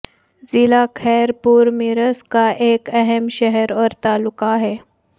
ضلع خیر پور میرس کا ایک اہم شہر اور تعلقہ ہے